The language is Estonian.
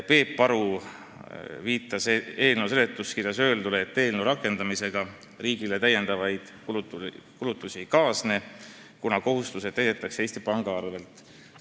Peep Aru viitas eelnõu seletuskirjas öeldule, et otsuse rakendamisega riigile täiendavaid kulutusi ei kaasneks, kuna kohustused täidetakse Eesti Panga kasumi arvel.